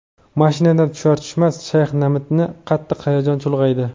Mashinadan tushar-tushmas Shayx Nadimni qattiq hayajon chulg‘aydi.